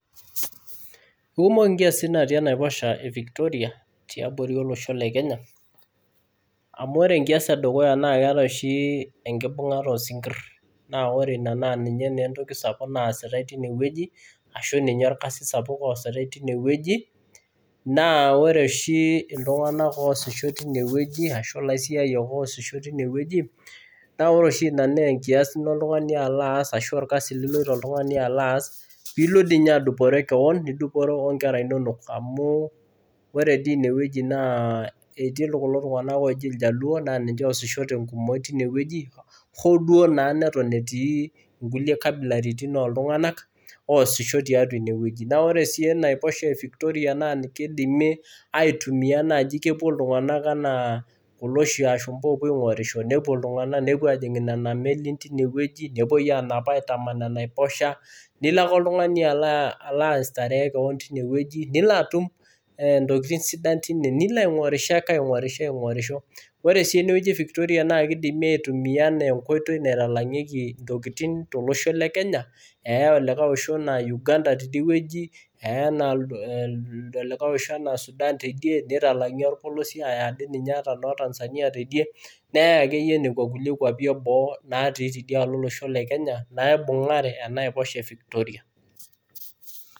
Kumok inkiasin natii enaiposha e Victoria tiabori olosho le Kenya amu ore enkias e dukuya naa keetae oshi enkibung'ata oo sinkirr naa ore ina naa ninye entoki sapuk naasitae tinewueji ashu ninye orkasi sapuk oositae tinewueji. Naa ore oshi iltung'anak oosisho tinewueji ashu ilaisiayiak oosisho tinewueji naa ore oshi ina naa enkias nilo oltung'ani alo aas , ashu orkasi liloito oltung'ani alo aas, piilo dii ninye adupore keon, nidupore o nkera inonok amu ore dii inewueji naa etii kulo tung'anak ooji iljaluo naa ninche oosisho te nkumoi tinewueji hoo duo naa neton etii inkulie kabilaritin ooltung'anak oosisho tiatwa inewueji. Naa ore sii ena aiposha e Victoria naa kidimi naai aitumia kepwo iltung'anak enaa kulo ashumpa oopwo oshi aing'urisho, nepwo iltung'anak, nepwo aajing' nena melin tinewueji, nepwoi aanap aitaman ina aiposha. Nilo ake oltung'ani alo aistaree keon tinewueji nilo atum intokiting sidan tin, nilo aing'orisho ake aing'orisho. Ore sii enewueji e Victoria naa kidimi aitumia enaa enkoitoi naitalang'ieki intokiting tolosho le Kenya eyae olikae osho enaa Uganda tidiwueji, eye enaa olikae osho enaa Sudan tidie, nitalang'i orpolosie aaya ade ninye ata noo Tanzania tidie, neyae akeyie nekwa kulie kwapi e boo natii tidialo olosho le Kenya naibung'are ena aiposha e Victoria